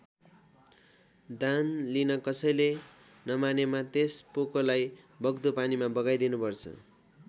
दान लिन कसैले नमानेमा त्यस पोकोलाई बग्दो पानीमा बगाइदिनुपर्छ।